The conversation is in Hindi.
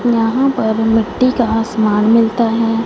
यहां पर मिट्टी का समान मिलता है।